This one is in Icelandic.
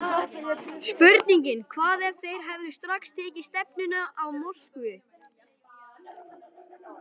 Spurningin Hvað ef þeir hefðu strax tekið stefnuna á Moskvu?